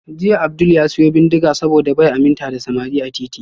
Jiya Abdul ya siyo bindiga saboda bai aminta da samari a titi